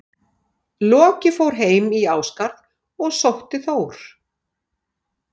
Loki fór heim í Ásgarð og sótti Þór.